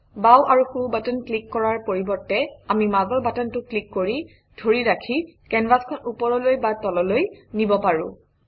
বাওঁ আৰু সোঁ বাটন ক্লিক কৰাৰ পৰিৱৰ্তে আমি মাজৰ বাটনটো ক্লিক কৰি ধৰি ৰাখি কেনভাচখন ওপৰলৈ বা তললৈ নিব পাৰোঁ